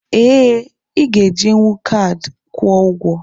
Ee, ị ga-ejinwu kaadị kwụọ ụgwọ.